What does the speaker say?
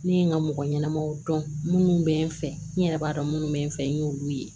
Ne ye n ka mɔgɔ ɲɛnamaw dɔn minnu bɛ n fɛ n yɛrɛ b'a dɔn minnu bɛ n fɛ n y'olu ye